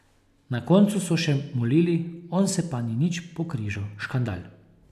Na koncu so še molili, on se pa ni nič pokrižal, škandal!